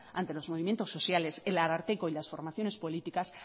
ante los movimientos sociales el ararteko y las formaciones políticas